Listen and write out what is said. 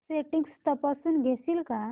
settings तपासून घेशील का